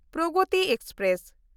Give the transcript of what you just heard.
Pragati express